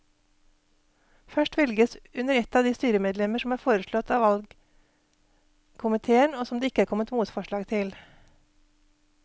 Først velges under ett de styremedlemmer som er foreslått av valgkomiteen og som det ikke er kommet motforslag til.